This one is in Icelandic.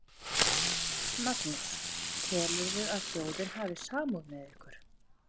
Magnús: Telurðu að þjóðin hafi samúð með ykkur?